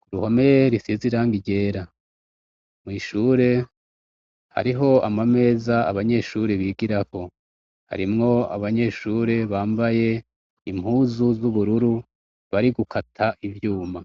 ku ruhome risize irangi ryera mwishure hariho ama meza abanyeshuri bigiraho harimwo abanyeshure bambaye impuzu z'ubururu bari gukata ivyuma